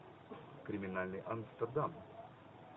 криминальный амстердам